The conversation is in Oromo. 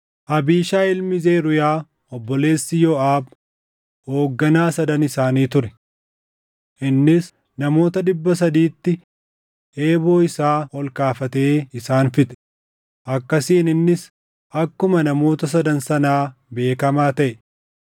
Abiishaayi ilmi Zeruuyaa obboleessi Yooʼaab hoogganaa sadan isaanii ture. Innis namoota dhibba sadiitti eeboo isaa ol kaafatee isaan fixe; akkasiin innis akkuma namoota sadan sanaa beekamaa taʼe.